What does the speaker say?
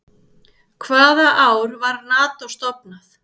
Hvaða ár var Nató stofnað?